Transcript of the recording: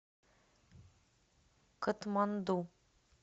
катманду